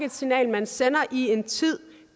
et signal man sender i en tid